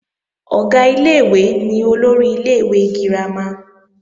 Ọ̀gá ilé-ìwé ni olórí ilé-ìwé girama